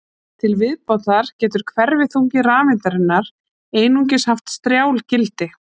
Til viðbótar getur hverfiþungi rafeindarinnar einungis haft strjál gildi.